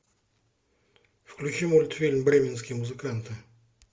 включи мультфильм бременские музыканты